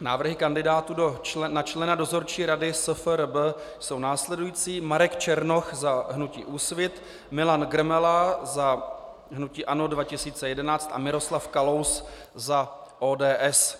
Návrhy kandidátů na člena Dozorčí rady SFRB jsou následující: Marek Černoch za hnutí Úsvit, Milan Grmela za hnutí ANO 2011 a Miroslav Kalous za ODS